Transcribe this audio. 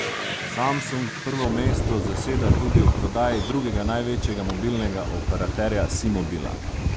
Samsung prvo mesto zaseda tudi v prodaji drugega največjega mobilnega operaterja Simobila.